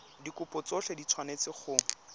dikopo tsotlhe di tshwanetse go